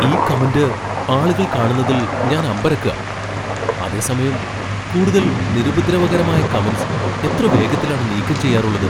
ഈ കമന്റ് ആളുകൾ കാണുന്നതിൽ ഞാൻ അമ്പരക്കാ. അതേസമയം കൂടുതൽ നിരുപദ്രവകരമായ കമന്റ്സ് എത്ര വേഗത്തിലാണ് നീക്കം ചെയ്യാറുള്ളത്!